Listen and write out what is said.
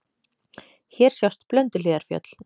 Hér sjást Blönduhlíðarfjöll.